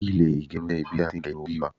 ile igerun je ibi ti a tin ge irun ori wa